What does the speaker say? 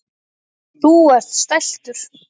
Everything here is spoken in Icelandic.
Þú ert stæltur.